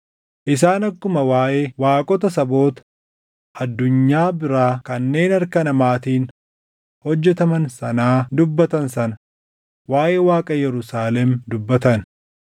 Isaan akkuma waaʼee waaqota saboota addunyaa biraa kanneen harka namaatiin hojjetaman sanaa dubbatan sana waaʼee Waaqa Yerusaalem dubbatan.